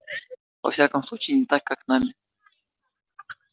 во всяком случае не так как нами